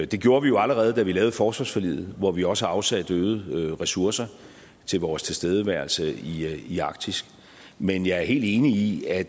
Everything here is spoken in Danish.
det gjorde vi jo allerede da vi lavede forsvarsforliget hvor vi også afsætte øgede ressourcer til vores tilstedeværelse i arktis men jeg er helt enig i at